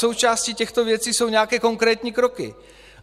Součástí těchto věcí jsou nějaké konkrétní kroky.